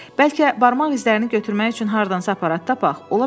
Bəlkə barmaq izlərini götürmək üçün hardansa aparat tapaq.